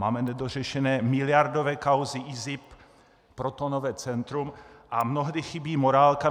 Máme nedořešené miliardové kauzy IZIP, protonové centrum a mnohdy chybí morálka.